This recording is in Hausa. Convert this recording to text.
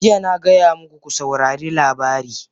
Jiya na gaya muku, ku saurari labari!